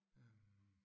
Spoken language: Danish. Øh